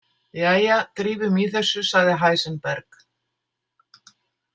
Jæja, drífum í þessu, sagði Heisenberg.